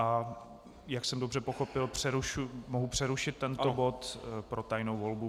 A jak jsem dobře pochopil, mohu přerušit tento bod pro tajnou volbu.